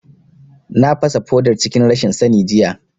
Na fasa fodar cikin rashin sani jiya